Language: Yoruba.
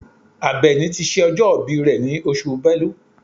Àbẹ̀ní ti ṣe ọjọ́ ìbí rẹ̀ ní oṣù Bẹ́lú.